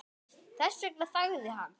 Þess vegna þagði hann.